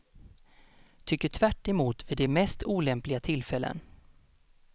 Tycker tvärt emot vid de mest olämpliga tillfällen.